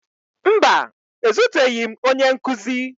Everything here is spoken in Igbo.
Mba, ezuteghi m onye nkụzi